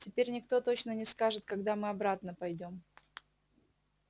теперь никто точно не скажет когда мы обратно пойдём